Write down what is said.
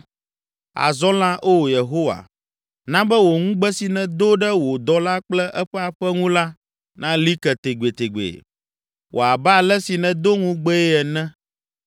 “Azɔ la, Oo Yehowa, na be wò ŋugbe si nèdo ɖe wò dɔla kple eƒe aƒe ŋu la nali ke tegbetegbe. Wɔ abe ale si nèdo ŋugbee ene,